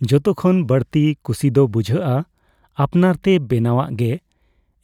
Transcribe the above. ᱡᱚᱛᱚᱠᱷᱚᱱ ᱵᱟᱹᱲᱛᱤ ᱠᱩᱥᱤ ᱫᱚ ᱵᱩᱡᱷᱟᱹᱜᱼᱟ ᱟᱯᱱᱟᱨᱛᱮ ᱵᱮᱱᱟᱣᱟᱜ ᱜᱮ